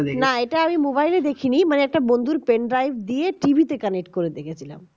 এটা আমি mobile এ দেখি নি মানে একটা বন্ধুর pendrive দিয়ে tv তে connect করে দেখছিলাম